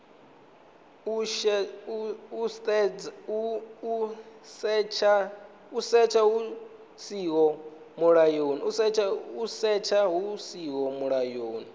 u setsha hu siho mulayoni